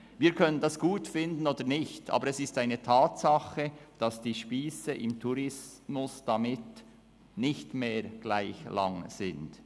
Das können wir gut finden oder nicht, aber es ist eine Tatsache, dass die Spiesse im Tourismus damit nicht mehr gleich lang sind.